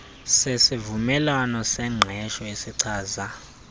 sesivumelwano sengqesho esichaza